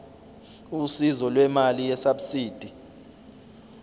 usizo lwemali yesabsidi